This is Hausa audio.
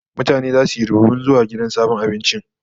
Mutane zasu yi rubibin zuwa sabon gidan abincin.